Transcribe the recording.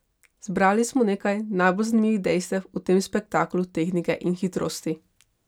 Zbrali smo nekaj najbolj zanimivih dejstev o tem spektaklu tehnike in hitrosti.